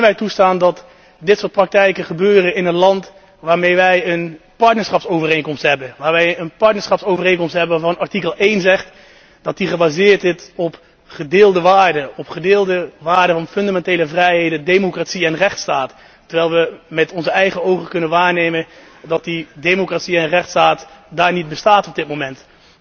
Kunnen wij toestaan dat dit soort praktijken gebeuren in een land waarmee wij een partnerschapsovereenkomst hebben, waarvan artikel 1 zegt dat deze gebaseerd is op gedeelde waarden, op gedeelde waarden van fundamentele vrijheden, democratie en rechtsstaat, terwijl we met onze eigen ogen kunnen waarnemen dat die democratie en rechtsstaat daar niet bestaan op dit moment?